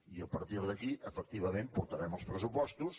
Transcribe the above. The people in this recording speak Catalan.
i a partir d’aquí efectivament portarem els pressupostos